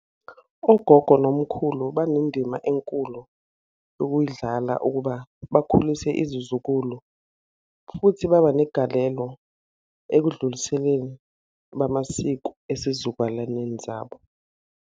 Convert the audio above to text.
Ogogo nomkhulu banendima enkulu ukuyidlala ukuba bakhulise izizukulu, futhi baba negalelo ekudluliseleni bamasiko esizukulwaneni zabo.